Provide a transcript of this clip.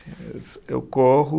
Eu corro